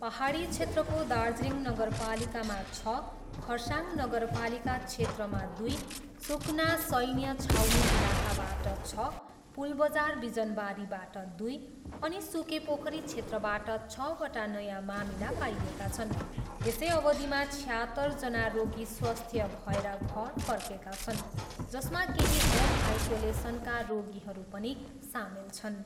पाहाडी क्षेत्रको दार्जिलिङ नगरपालिकामा छ, खरसाङ नगरपालिका क्षेत्रमा दुई, सुकना सैन्य छाउनी इलकाबाट छ, पुलबजार बिजनबारीबाट दुई अनि सुकेपोखरी क्षेत्रबाट छवटा नयाँ मामिला पाइएका छन्। यसै अवधिमा छयात्तरजना रोगी स्वस्थ्य भएर घर फर्केका छन्, जसमा केही होम आइसोलेसनका रोगीहरू पनि सामेल छन्।